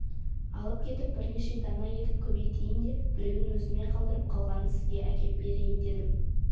алып кетіп бірнеше дана етіп көбейтейін де біреуін өзіме қалдырып қалғанын сізге әкеп берейін дедім